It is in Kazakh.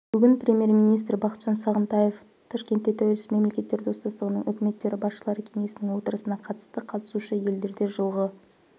бүгін премьер-министрі бақытжан сағынтаев ташкентте тәуелсіз мемлекеттер достастығының үкіметтері басшылары кеңесінің отырысына қатысты қатысушы елдерде жылғы